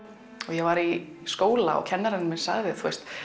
ég var í skóla og kennarinn minn sagði